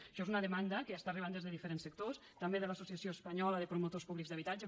això és una demanda que està arribant des de diferents sectors també de l’associació espanyola de promotors públics d’habitatge